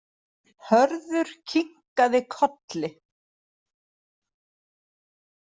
Hörður kinkaði kolli.